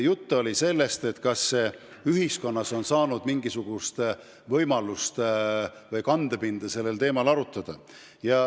Jutt on sellest, kas ühiskonnas on olnud mingisugust võimalust või kandepinda sellel teemal arutada.